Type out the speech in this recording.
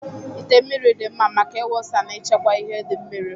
Ite mmiri dị mma maka ịwụsa na ịchekwa ihe di mmiri.